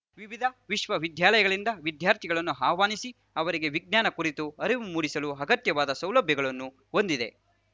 ವಿವಿಧ ವಿಶ್ವ ವಿದ್ಯಾಲಯಗಳಿಂದ ವಿದ್ಯಾರ್ಥಿಗಳನ್ನು ಆಹ್ವಾನಿಸಿ ಅವರಿಗೆ ವಿಜ್ಞಾನ ಕುರಿತು ಅರಿವು ಮೂಡಿಸಲು ಅಗತ್ಯವಾದ ಸೌಲಭ್ಯಗಳನ್ನು ಹೊಂದಿದೆ